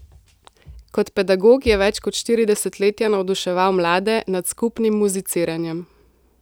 Kot pedagog je več kot štiri desetletja navduševal mlade nad skupnim muziciranjem.